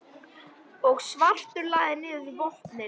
og svartur lagði niður vopnin.